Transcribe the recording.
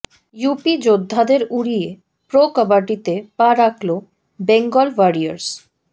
UP যোদ্ধাদের উড়িয়ে pro কবাডিতে পা রাখল বেঙ্গল ওয়ারিয়র্স